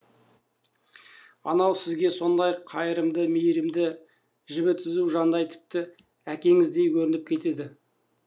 анау сізге сондай қайырымды мейірімді жібі түзу жандай тіпті әкеңіздей көрініп кетеді